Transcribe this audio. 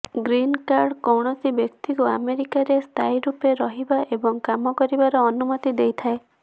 green card କୌଣସି ବ୍ୟକ୍ତିକୁ ଆମେରିକାରେ ସ୍ଥାୟୀ ରୂପେ ରହିବା ଏବଂ କାମ କରିବାର ଅନୁମତି ଦେଇଥାଏ